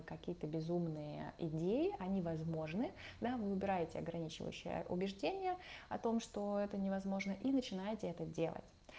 какие-то безумные идеи они возможны да вы выбираете ограничивающие убеждения о том что это невозможно и начинаете это делать